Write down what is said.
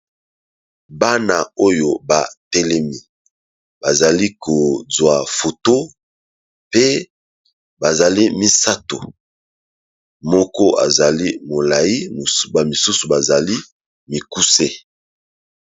Bana oyo batelemi bazali kozwa foto pe bazali misato moko azali molai misusu bazali mikuse.